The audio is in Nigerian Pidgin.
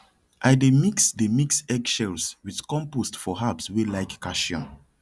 i dey mix dey mix egg shells with compost for herbs wey like calcium